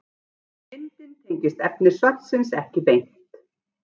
Myndin tengist efni svarsins ekki beint.